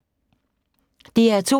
DR2